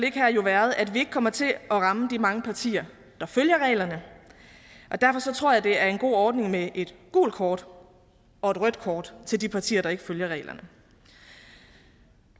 her jo været at vi ikke kommer til at ramme de mange partier der følger reglerne og derfor tror jeg det er en god ordning med et gult kort og et rødt kort til de partier der ikke følger reglerne